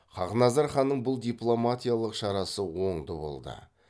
хақназар ханның бұл дипломатиялық шарасы оңды болды